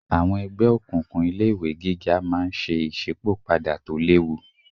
Àwọn ẹgbẹ́ òkùnkùn ilé ìwé gíga máa ń ṣe ìsípò padà tó léwu